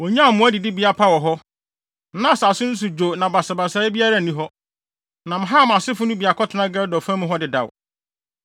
Wonyaa mmoa adidibea pa wɔ hɔ. Na asase no so dwo na basabasayɛ biara nni hɔ. Na Ham asefo no bi akɔtena Gedor fa mu hɔ dedaw.